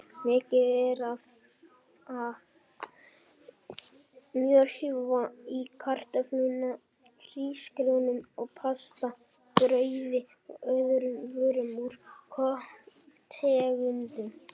Mikið er af mjölva í kartöflum, hrísgrjónum og pasta, brauði og öðrum vörum úr korntegundum.